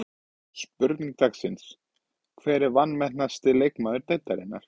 Spurning dagsins: Hver er vanmetnasti leikmaður deildarinnar?